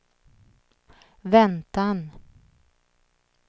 väntan